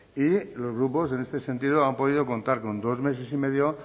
y los grupos en este sentido han podido contar con dos meses y medio